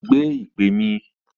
Gbé ìpè mi!